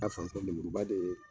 A fan fɛ nemuruba de ye